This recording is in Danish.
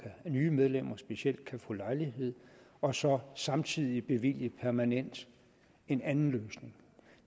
nye medlemmer specielt kan få lejlighed og så samtidig bevilge permanent en anden løsning